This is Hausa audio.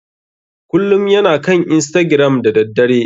Kullum yana kan istagiram da daddare.